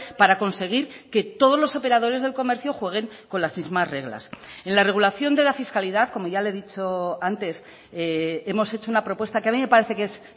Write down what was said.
para conseguir que todos los operadores del comercio jueguen con las mismas reglas en la regulación de la fiscalidad como ya le he dicho antes hemos hecho una propuesta que a mí me parece que es